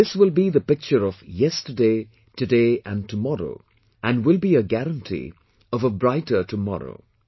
This will be the picture of "yesterday, today and tomorrow" and will be a guarantee of a brighter tomorrow